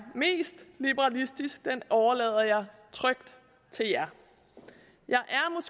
mest liberalistisk overlader jeg trygt til jer